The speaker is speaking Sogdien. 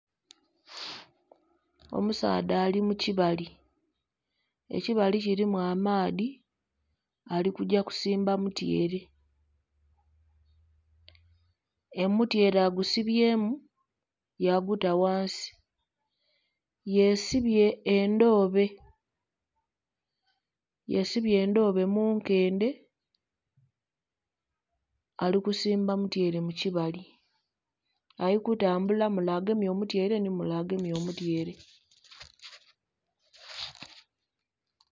Omusaadha ali mu kibali ekibali kilimu amaadhi ali kugya kusimba mutyere, omutyere agusibyemu ya guta ghansi yesibye endhobe. Yesibye endhobe mu nkendhe ali kusimba mutyere mu kibali ali kutambula mule agemye omutyere nhi mule agemye omutyere.